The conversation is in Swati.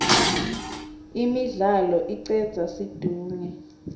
imidlalo icedza situnge